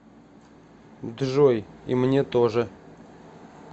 джой и мне тоже